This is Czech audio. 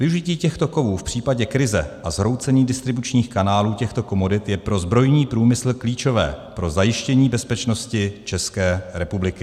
Využití těchto kovů v případě krize a zhroucení distribučních kanálů těchto komodit je pro zbrojní průmysl klíčové pro zajištění bezpečnosti České republiky.